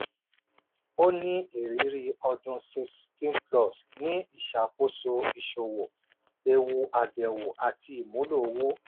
ó ní irírí ọdún 16+ ní ìṣàkóso ìṣòwò eewu àbẹ̀wò àti ìmúlò owó.